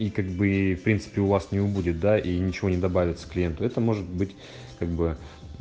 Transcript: и как бы в принципе у вас не убудет да и ничего не добавится клиенту это может быть как бы